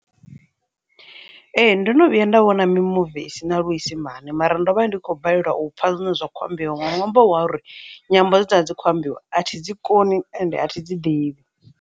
Ee, ndo no vhuya nda vhona mimuvi i sina luisimane mara ndo vha ndi khou balelwa u pfha zwine zwa kho ambiwa nga nwambo wa uri nyambo dze dza dzi khou ambiwa a thi dzi koni ende a thi dzi ḓivhi.